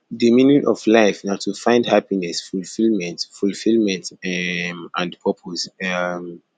di meaning of life na to find happiness fulfillment fulfillment um and purpose um